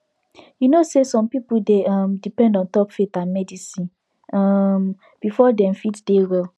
you know say some people dey um depend ontop faith and medicine um before dem fit dey well